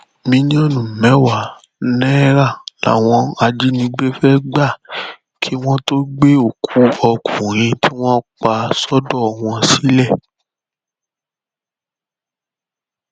mílíọnù mẹwàá náírà làwọn ajínigbé fẹẹ gbà kí wọn tóó gbé òkú ọkùnrin tí wọn pa sọdọ wọn sílẹ